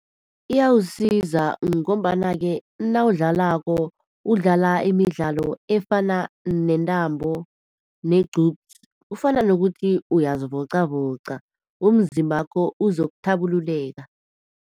Iyawusiza ngombana-ke nawudlalako, udlala imidlalo efana nentambo, negqupsi, kufana nokuthi uyazivocavoca. Umzimbakho uzokuthabululeka.